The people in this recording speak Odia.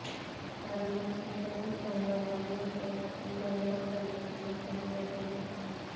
କାରଣ ଝିଅର ବିବାହ ଅନ୍ୟତ୍ର ସ୍ଥିର କରିଥିଲେ ପରିବାର ଲୋକ